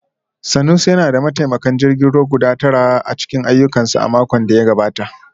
Sanusi yana da mataimakan jirgin ruwa guda tara a cikin ayyukansa a makon da ya gabata